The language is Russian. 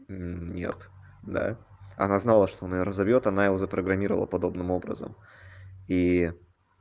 нет да она знала что наверное зовёт она его запрограммировала подобным образом и